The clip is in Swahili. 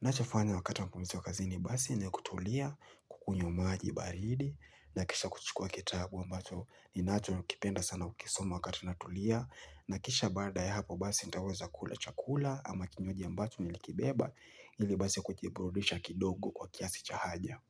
Nachofanya wakati wa mapumziko kazini basi ni kutulia, kukunywa maji baridi, na kisha kuchukua kitabu ambacho ninachokipenda sana kukisoma wakati natulia, na kisha baada ya hapo basi nitaweza kula chakula ama kinywaji ambacho nilikibeba, ili basi kujiburudisha kidogo kwa kiasi cha haja.